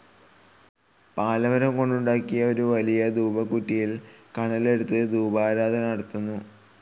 പാലമരംകൊണ്ടുണ്ടാക്കിയ വലിയ ധൂപക്കുറ്റിയിൽ കനലെടുത്ത് ധൂപാരാധന നടത്തുന്നു.